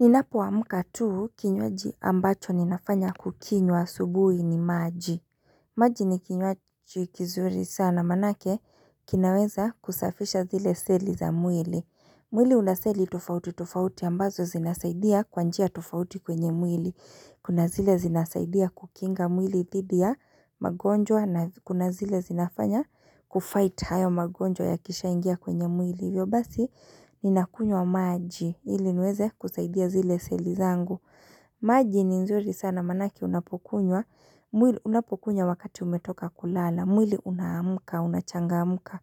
Ninapoamka tu kinywaji ambacho ninafanya kukinywa asubuhi ni maji maji ni kinywaji kizuri sana maanake kinaweza kusafisha zile seli za mwili mwili una seli tofauti tofauti ambazo zinasaidia kwa njia tofauti kwenye mwili Kuna zile zinasaidia kukinga mwili dhidi ya magonjwa na kuna zile zinafanya kufight hayo magonjwa yakishaingia kwenye mwili hivyo basi ninakunywa maji ili niweze kusaidia zile seli zangu maji ni nzuri sana maanake unapokunywa unapokunywa wakati umetoka kulala mwili unaamka unachangamka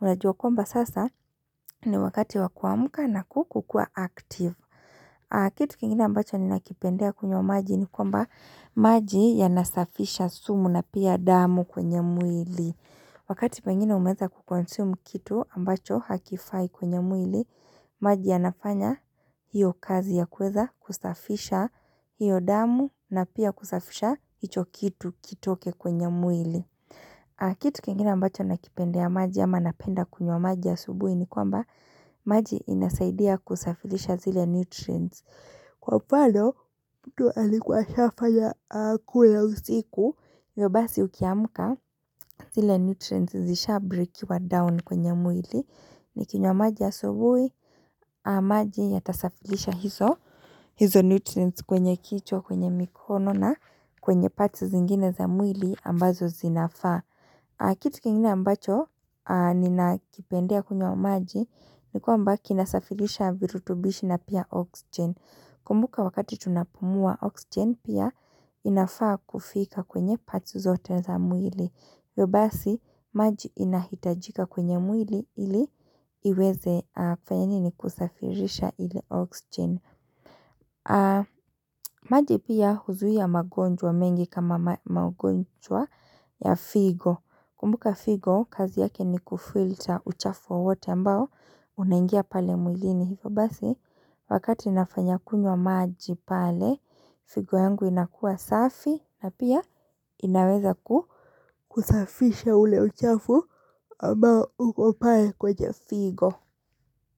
unajua kwamba sasa ni wakati wa kuamka na ku kukuwa active kitu kingine ambacho ninakipendea kunywa maji ni kwamba maji yanasafisha sumu na pia damu kwenye mwili Wakati pengine umeeza kuconsume kitu ambacho hakifai kwenye mwili, maji yanafanya hiyo kazi ya kueza kusafisha hiyo damu na pia kusafisha hicho kitu kitoke kwenye mwili. Kitu kengina ambacho nakipendea maji ama napenda kunywa maji asubuhi ni kwamba maji inasaidia kusafilisha zile nutrients. Kwa mfano mtu alikuwa ashafanya akule usiku hivyo basi ukiamka zile nutrients zishabreakiwa down kwenye mwili Nikinywa maji asubuhi maji yatasafilisha hizo hizo nutrients kwenye kichwa kwenye mikono na kwenye parts zingine za mwili ambazo zinafaa Kitu kingine ambacho ninakipendea kunywa maji ni kwamba kinasafilisha virutubishi na pia oxygen Kumbuka wakati tunapumua oxygen pia inafaa kufika kwenye parts zote za mwili. Hivyo basi maji inahitajika kwenye mwili ili iweze kufanya nini kusafirisha ile oxygen. Maji pia huzuia magonjwa mengi kama magonjwa ya figo. Kumbuka figo kazi yake ni kufilter uchafu wowote ambao unaingia pale mwili hivyo. Basi wakati inafanya kunywa maji pale figo yangu inakuwa safi na pia inaweza ku kusafisha ule uchafu ambao uko pale kwenye figo.